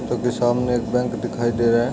सामने एक बैंक दिखाई दे रहा है।